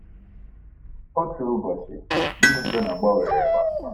Otu ụbọchị, ndụ Jona gbanwere kpamkpam.